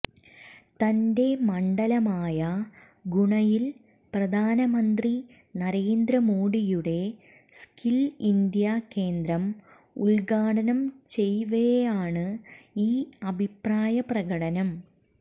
തന്റെ മണ്ഡലമായ ഗുണയിൽ പ്രധാനമന്ത്രി നരേന്ദ്ര മോഡിയുടെ സ്കിൽ ഇന്ത്യ കേന്ദ്രം ഉൽഘാടനം ചെയ്യവെയാണ് ഈ അഭിപ്രായപ്രകടനം